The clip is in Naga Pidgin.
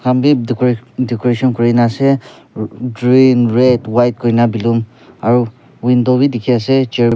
Beh deco decoration kurena ase ruh dreen red white koina balloon aro window beh dekhe ase chair .